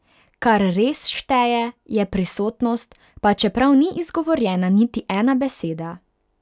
Kar res šteje, je prisotnost, pa čeprav ni izgovorjena niti ena beseda.